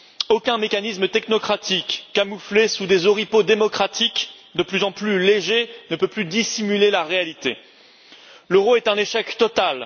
Aucun mécanisme technocratique camouflé sous des oripeaux démocratiques de plus en plus légers ne peut plus dissimuler la réalité l'euro est un échec total.